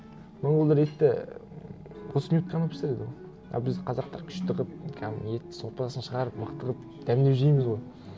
монғолдар етті ііі отыз минут қана пісіреді ғой а біз қазақтар күшті қылып кәдімгі еттің сорпасын шығарып мықты қылып дәмдеп жейміз ғой